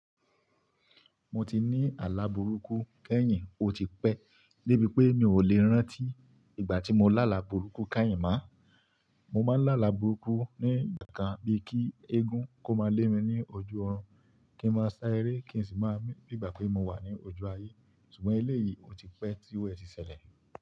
Mo ti ní àlà burúkú, keyìn ò ti pẹ́, débi pé mi ò lè rántí ìgbà tí mo lá àlà burúkú káìyin mọ́. Mo máa ń lá àlà burúkú ní ìgbà kan bíi kí eégún kó máa lé mi ní ojú ọ̀run kí ń máa sá eré kí n sì máa mi bi ìgbà pé mo wà ní ojú ayé. Ṣùgbọ́n eléyìí ò ti pẹ́ tí ru è tí ṣẹlẹ̀